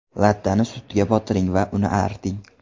Lattani sutga botiring va uni arting.